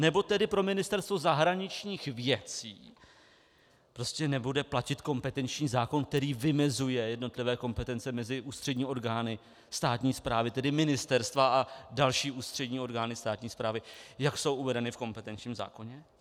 Nebo tedy pro Ministerstvo zahraničních věcí prostě nebude platit kompetenční zákon, který vymezuje jednotlivé kompetence mezi ústřední orgány státní správy, tedy ministerstva a další ústřední orgány státní správy, jak jsou uvedeny v kompetenčním zákoně?